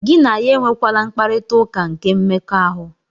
Gị na ya enwekwala mkparita ụka nke mmekọahụ.